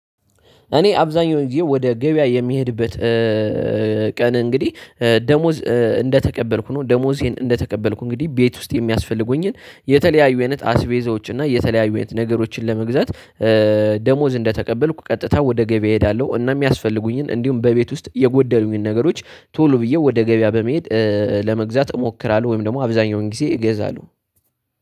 እኔ አብዛኛው ወደ ገበያ የሚሄድበት ቀን እንግዲህ ደሞዝ እንደተቀበልኩ ነው ደሞዜን እንደተቀበልኩ እንግዲህ ቤት ውስጥ የሚያስፈልጉኝን የተለያዩ አይነት አስቤዞች እና የተለያዩ ነገሮችን ለመግዛት ደሞዝ እንደተቀበልኩ ቀጥታ ወደ ገበያ እሄዳለሁ። እና የሚያስፈልጉኝን እንዲሁም በቤት ውስጥ የጎደሉኝን ነገሮች ቶሎ ብዬ ወደ ገበያ በመሄድ ለመግዛት እሞክራለሁ። ወይም ደግሞ አብዛኛውን ጊዜ እገዛለሁ